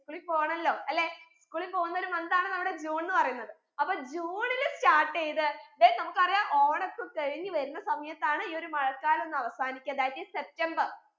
school ൽ പോണല്ലോ അല്ലെ school ൽ പോന്ന ഒരു month ആണ് നമ്മുടെ ജൂൺന്ന് പറയുന്നത് അപ്പൊ ജൂണിൽ start എയ്ത് then നമ്മുക്കറിയ ഓണ ഒക്കെ കഴിഞ്ഞ് വരുന്ന സമയത്താണ് ഈ ഒരു മഴക്കാലം ഒന്നവസാനിക്കാ that is സെപ്റ്റംബർ